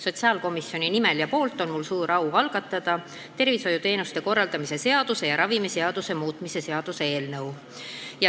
Sotsiaalkomisjoni nimel on mul suur au algatada tervishoiuteenuste korraldamise seaduse ja ravimiseaduse muutmise seaduse eelnõu.